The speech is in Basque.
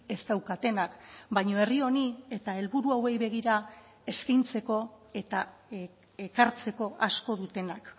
ez daukatenak baina herri honi eta helburu hauei begira eskaintzeko eta ekartzeko asko dutenak